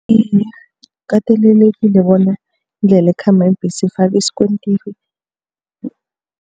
Iye, kukatelelekile bona indlela ekhamba iimbhesi ifakwe isikontiri.